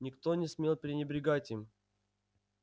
никто не смел пренебрегать им